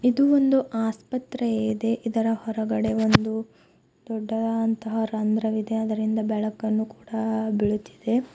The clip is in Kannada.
ಇದು ಒಂದು ಆಸ್ಪತ್ರೆ ಇದೆ ಇದರ ಹೊರಗಡೆ ಒಂದು ದೊಡ್ಡದಾದಂತಹ ರಂದ್ರವಿದೆ ಅದರಿಂದ ಬೆಳಕನ್ನು ಕೂಡ ಬೀಳುತ್ತಿದೆ.